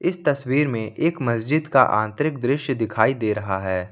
इस तस्वीर में एक मस्जिद का आंतरिक दृश्य दिखाई दे रहा है।